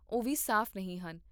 ਉਹ ਵੀ ਸਾਫ਼ ਨਹੀਂ ਹਨ